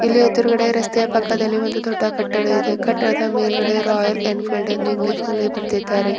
ಎದುರುಗಡೆ ರಸ್ತೆಯ ಪಕ್ಕದಲ್ಲಿ ಒಂದು ದೊಡ್ಡ ಕಟ್ಟಡ ಇದೆ ಕಟ್ಟಡದ ಮೇಲ್ಗಡೆ ರಾಯಲ್ ಏನ್ಪಿಲ್ದ ಎಂದು ಇಂಗ್ಲಿಷ್ ನಲ್ಲಿ ಬರೆದಿದ್ದಾರೆ.